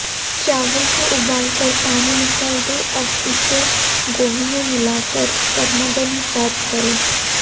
चावल को उबालकर पानी निकाल दें अब इसे गोभी में मिलाकर गर्मागर्म सर्व करें